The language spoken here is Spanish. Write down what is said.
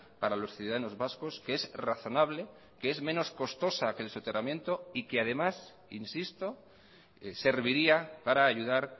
para los ciudadanos vascos que es razonable que es menos costosa que el soterramiento y que además insisto serviría para ayudar